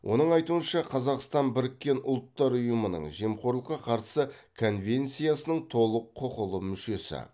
оның айтуынша қазақстан біріккен ұлттар ұйымының жемқорлыққа қарсы конвенциясының толық құқылы мүшесі